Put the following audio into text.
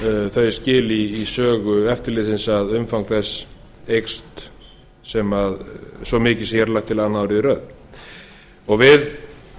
þau skil í sögu eftirlitsins að umfang þess eykst svo mikið sem hér er lagt til annað árið í röð við